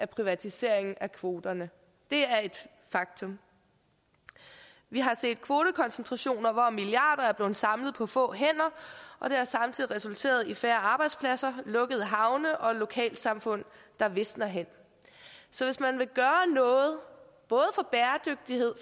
privatiseringen af kvoterne det er et faktum vi har set kvotekoncentrationer hvor milliarder er blevet samlet på få hænder og det har samtidig resulteret i færre arbejdspladser lukkede havne og lokalsamfund der visner hen så hvis man vil gøre noget både